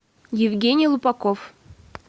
евгений лупаков